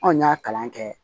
Anw y'a kalan kɛ